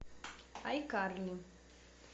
айкарли